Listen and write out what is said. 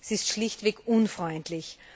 Sie ist schlichtweg unfreundlich.